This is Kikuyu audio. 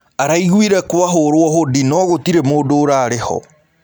Araĩgũĩre kwahũrwo hodĩ no gũtĩrĩ mũndũ ũrarĩho.